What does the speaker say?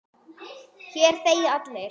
Hér þegja allir.